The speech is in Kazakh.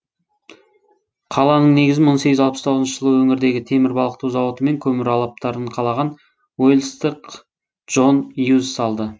қаланың негізін мың сегіз жүз алпыс тоғызыншы жылы өңірдегі темір балқыту зауыты мен көмір алаптарын қалаған уэлстық джон юз салды